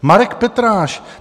Marek Petráš.